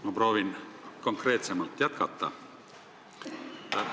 Ma proovin konkreetsemalt jätkata.